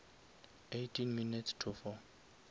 eighteen minutes to four